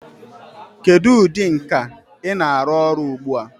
Kedu ụdị nka ị na-arụ ọrụ ugbu a?